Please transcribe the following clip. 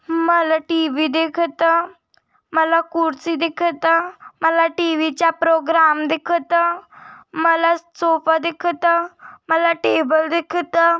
मला टी_वी दिखता मला कुर्सी दिखता मला टी_वी चा प्रोग्राम दिखत मला सोफा दिखता मला टेबल दिखता।